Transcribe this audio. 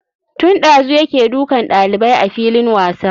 Tun ɗazu yake dukan ɗalibai a filin wasa.